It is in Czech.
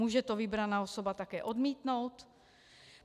Může to vybraná osoba také odmítnout?